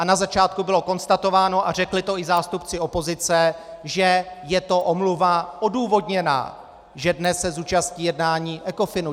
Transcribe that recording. A na začátku bylo konstatováno, a řekli to i zástupci opozice, že je to omluva odůvodněná, že dnes se zúčastní jednání Ecofinu.